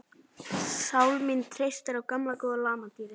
Sál mín treystir á gamla góða lamadýrið.